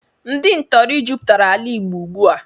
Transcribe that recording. Ndị ntọrị jụpụtara ala Igbo ụgbụ a